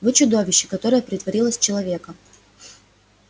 вы чудовище которое притворилось человеком